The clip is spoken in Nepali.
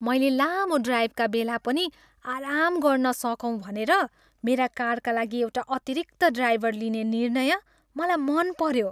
मैले लामो ड्राइभका बेला पनि आराम गर्न सकौँ भनेर मेरो कारका लागि एउटा अतिरिक्त ड्राइभर लिने निर्णय मलाई मन पऱ्यो।